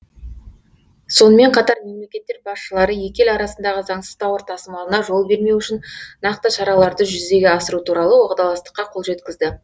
сонымен қатар мемлекеттер басшылары екі ел арасындағы заңсыз тауар тасымалына жол бермеу үшін нақты шараларды жүзеге асыру туралы уағдаластыққа қол жеткізді